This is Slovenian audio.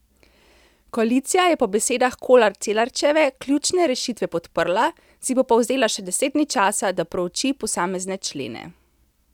Koalicija je po besedah Kolar Celarčeve ključne rešitve podprla, si bo pa vzela še deset dni časa, da prouči posamezne člene.